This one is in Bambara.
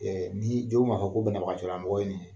Ɛ ni jɔnw mankan ko banabagatolamɔgɔ ye nin ye